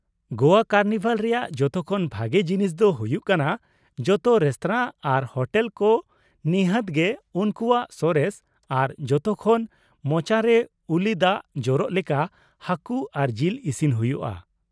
ᱜᱚᱣᱟ carnival ᱨᱮᱭᱟᱜ ᱡᱚᱛᱚ ᱠᱷᱚᱱ ᱵᱷᱟᱜᱮ ᱡᱤᱱᱤᱥ ᱫᱚ ᱦᱩᱭᱩᱜ ᱠᱟᱱᱟ ᱡᱚᱛᱚ ᱨᱮᱥᱛᱚᱨᱟ ᱟᱨ ᱦᱳᱴᱮᱞ ᱠᱚ ᱱᱤᱷᱟᱹᱛ ᱜᱮ ᱩᱱᱠᱩᱣᱟᱜ ᱥᱚᱨᱮᱥ ᱟᱨ ᱡᱚᱛᱚ ᱠᱷᱚᱱ ᱢᱚᱪᱟᱨᱮ ᱩᱞᱤ ᱫᱟᱜ ᱡᱚᱨᱚᱜ ᱞᱮᱠᱟ ᱦᱟᱹᱠᱩ ᱟᱨ ᱡᱤᱞ ᱤᱥᱤᱱ ᱦᱩᱭᱩᱜᱼᱟ ᱾